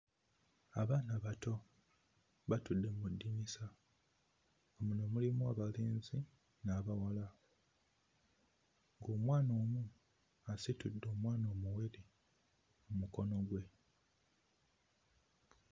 Abaana abato batudde mu ddinisa, muno mulimu abalenzi n'abawala, omwana omu asitudde omwana omuwere mmukono gwe.